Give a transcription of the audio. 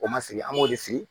O ma sigi an b'o de sigi